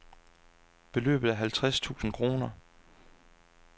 Beløbet er halvtreds tusind kroner.